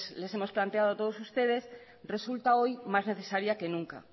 les hemos planteado a todos ustedes resulta hoy más necesaria que nunca